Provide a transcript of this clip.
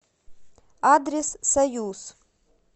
адрес союз